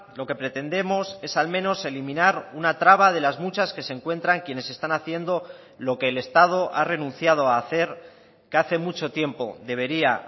lo que pretendemos es al menos eliminar una traba de las muchas que se encuentran quienes están haciendo lo que el estado ha renunciado a hacer que hace mucho tiempo debería